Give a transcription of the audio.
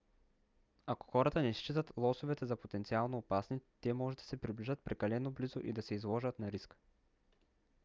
ако хората не считат лосовете за потенциално опасни те може да се приближат прекалено близо и да се изложат на риск